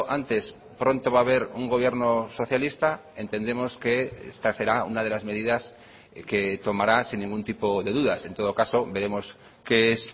antes pronto va a haber un gobierno socialista entendemos que esta será una de las medidas que tomará sin ningún tipo de dudas en todo caso veremos qué es